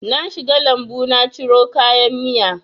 Na shiga lambu na ciro kayan miya